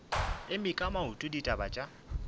eme ka maoto ditaba tša